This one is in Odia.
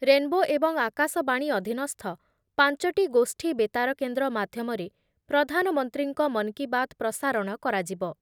ରେନ୍‌ବୋ ଏବଂ ଆକାଶବାଣୀ ଅଧୀନସ୍ଥ ପାଞ୍ଚଟି ଗୋଷ୍ଠୀ ବେତାର କେନ୍ଦ୍ର ମାଧ୍ୟମରେ ପ୍ରଧାନମନ୍ତ୍ରୀଙ୍କ ‘ମନ୍ କି ବାତ୍’ ପ୍ରସାରଣ କରାଯିବ ।